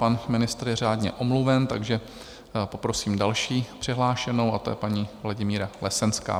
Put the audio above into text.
Pan ministr je řádně omluven, takže poprosím další přihlášenou, a tou je paní Vladimíra Lesenská.